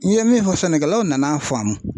N ye min fɔ sɛnɛkɛlaw nana faamu.